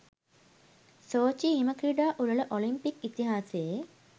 ‘Sochi’ හිම ක්‍රීඩා උළෙල ඔලිම්පික් ඉතිහාසයේ